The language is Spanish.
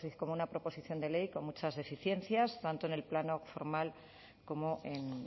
como una proposición de ley con muchas deficiencias tanto en el plano formal como en